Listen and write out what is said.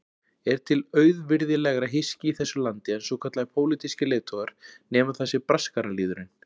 Er til auvirðilegra hyski í þessu landi en svokallaðir pólitískir leiðtogar, nema það sé braskaralýðurinn?